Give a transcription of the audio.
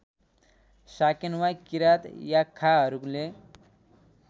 Sakewa Kirat याख्खाहरूले